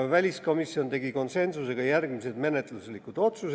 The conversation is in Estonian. Väliskomisjon tegi konsensusega järgmised menetluslikud otsused.